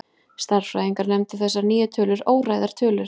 Stærðfræðingar nefndu þessar nýju tölur óræðar tölur.